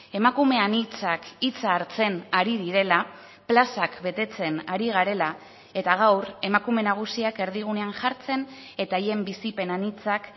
emakume anitzak hitza hartzen ari direla plazak betetzen ari garela eta gaur emakume nagusiak erdigunean jartzen eta haien bizipen anitzak